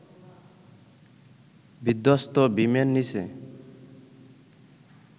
বিধ্বস্ত বিমের নিচে